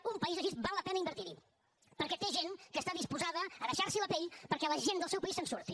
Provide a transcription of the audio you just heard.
en un país així val la pena invertir hi perquè té gent que està disposada a deixar se la pell perquè la gent del seu país se’n surti